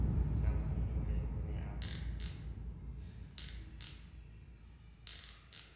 sa phomole o ne a